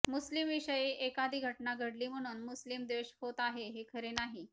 मुस्लिम विषयी एकाधी घटना घडली म्हणून मुस्लिम द्वेष होत आहे हे खरे नाही